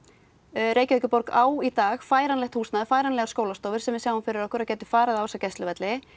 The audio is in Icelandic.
Reykjavíkurborg á í dag færanlegt húsnæði færanlegar skólastofur sem við sjáum fyrir okkur að gætu farið á þessa gæsluvelli